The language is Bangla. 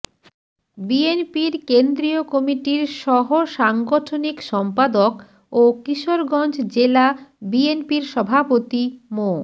বিএনপির কেন্দ্রীয় কমিটির সহসাংগঠনিক সম্পাদক ও কিশোরগঞ্জ জেলা বিএনপির সভাপতি মো